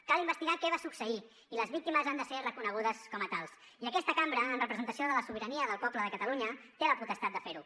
cal investigar què va succeir i les víctimes han de ser reconegudes com a tals i aquesta cambra en representació de la sobirania del poble de catalunya té la potestat de fer ho